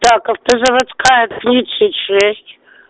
так автозаводская тридцать шесть